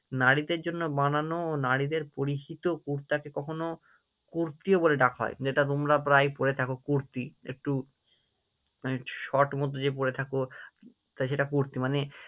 নারীদের জন্য বানানো ও নারীদের পরিহিত কুর্তাকে কখনও কুর্তিও বলে ডাকা হয় যেটা তোমরা প্রায় পড়ে থাকো কুর্তি, একটু মানে Short মতো যে পড়ে থাকো, তা সেটা কুর্তি মানে